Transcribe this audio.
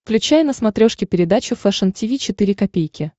включай на смотрешке передачу фэшн ти ви четыре ка